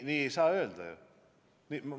Nii ei saa öelda ju!